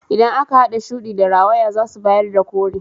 Idan aka hada shudi da rawaya zasu bayar da kore.